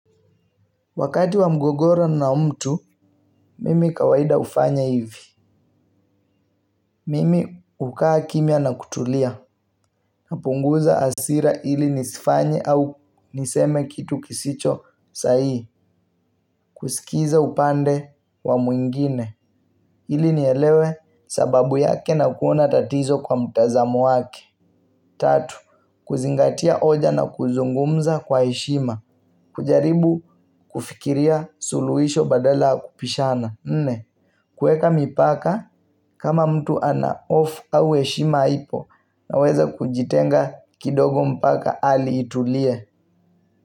Wakati wa mgogoro na mtu, mimi kawaida hufanya hivi. Mimi hukaa kimya na kutulia. Napunguza hasira ili nisifanye au niseme kitu kisicho sahihi. Kusikiza upande wa mwingine. Ili nielewe sababu yake na kuona tatizo kwa mtazamo wake. Tatu, kuzingatia hoja na kuzungumza kwa heshima. Kujaribu kufikiria suluhisho badala ya kubishana nne, kuweka mipaka kama mtu ana hofu au heshima haipo naweza kujitenga kidogo mpaka hali itulie.